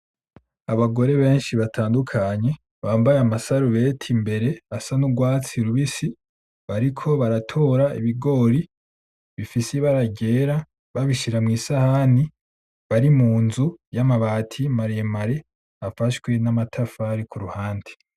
Abagore benshi batandukanye bambaye amasarubeti imbere asa n'urwatsi rubisi, bariko baratora Ibigori bifise Ibara ryera babishira mwisahani bari munzu yamabati maremare afashwe namatafari Kuruhande.